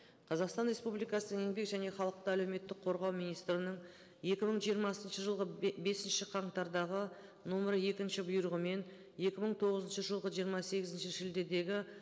қазақстан республикасы еңбек және халықты әлеуметтік қорғау министрінің екі мың жиырмасыншы жылғы бесінші қаңтардағы нөмір екінші бұйрығымен екі мың тоғызыншы жылғы жиырма сегізінші шілдедегі